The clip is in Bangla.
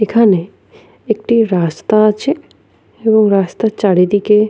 এখানে একটি রাস্তা আছে এবং রাস্তার চারিদিকে--